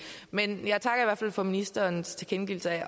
men jeg takker i hvert fald for ministerens tilkendegivelse af at